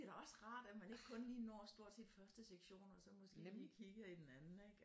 Det bliver da også rart at man ikke kun lige når stort set første sektion og så måske lige kigger i den anden ikke